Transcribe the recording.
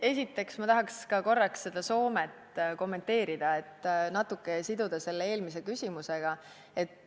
Esiteks, ma tahaks ka korraks seda Soome asja kommenteerida ja natukene siduda seda eelmise küsimusega.